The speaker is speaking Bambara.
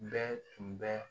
Bɛɛ tun bɛ